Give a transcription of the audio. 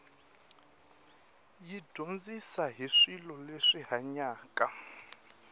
yi dyondzisa hi swilo leswi hanyaka